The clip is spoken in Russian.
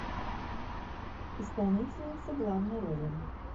исполнительница главной роли